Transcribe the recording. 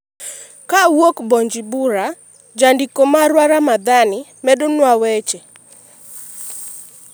ka owuok Bunjumbura, jandiko marwa Ramadhani medonwa weche